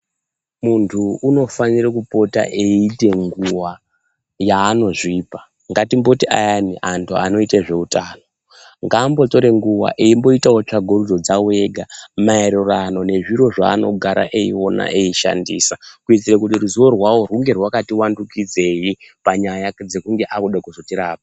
Munthu unofanira kupota eyiite nguwa yaanozvipa ,ngatimboti ayani anthu anoita nezveutano ngambotore nguwa eimboita tsvagurudzo dzawo ega maererano nezviro zvaanogara echiona echishandisa kuitira kuti ruzivo rwavo ringe rakati wandudzwei panyaya dzekunge akuzode kuzotirapa.